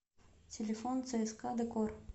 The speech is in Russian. телефон цск декор